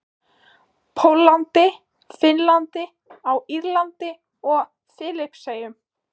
Póllandi, Finnlandi, á Írlandi og Filippseyjum.